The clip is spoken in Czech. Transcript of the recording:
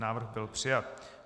Návrh byl přijat.